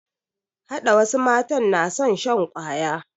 Hada wasu matan na son shan kwaya